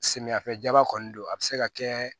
Samiyɛfɛ jaba kɔni don a be se ka kɛɛ